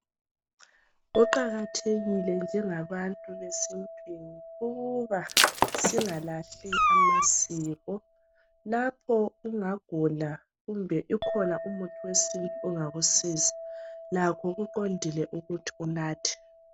Kuqakathekile njenga bantu besintwini ukuba singalahli amasiko lapho ungagula kumbe ukhona umuthi wesintu ongakusiza lakho kuqondile ukuthi unathe.